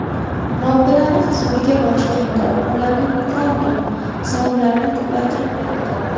Robbilari huzuriga borishganda ularni ikrom qilib, savoblarini ko‘paytirib beradi.